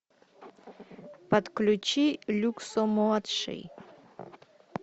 подключи люксо младший